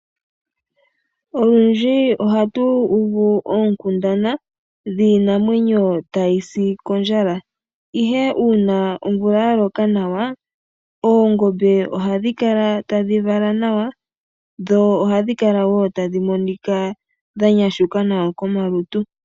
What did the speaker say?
Olundji ohatu uvu oonkundana dhiinamwenyo tayi si kondjala. Ihe una omvula ya loka nawa oongombe ohadhi kala tadhi vala nawa. Dho oha dhi kala wo tadhi monika dha nyashuka nawa komalutu.